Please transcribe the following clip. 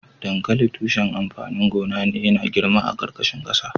Dankali tushen amfanin gona ne .Yana girma a karkashin kasa.